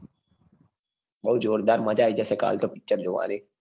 બઉં જોરદાર મજા આઈ જશે કાલ તો picture જોવાની. એના looks ઉપર તો આહાહા.